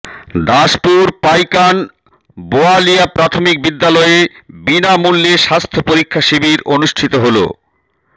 দাসপুর পাইকান বোয়ালিয়া প্রাথমিক বিদ্যালয়ে বিনামূল্যে স্বাস্থ্য পরীক্ষা শিবির অনুষ্ঠিত হল